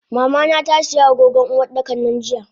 Mamana tasiya agogon Uwardakan nan jiya.